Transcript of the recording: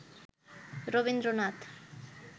Rabindranath